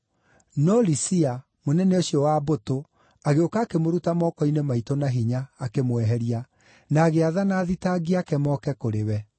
No Lisia, mũnene ũcio wa mbũtũ agĩũka akĩmũruta moko-inĩ maitũ na hinya akĩmweheria, na agĩathana athitangi aake moke kũrĩ wee.)